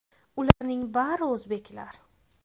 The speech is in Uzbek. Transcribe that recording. Ularning bari o‘zbeklar.